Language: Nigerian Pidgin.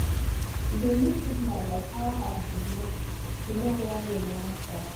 we dey look signal like how ant dey move to know when rain wan start